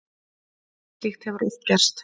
Slíkt hefur oft gerst.